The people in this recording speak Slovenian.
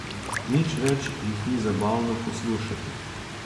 Nič več jih ni zabavno poslušati.